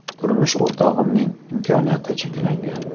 Turmush o‘rtog‘imning imkoniyati cheklangan.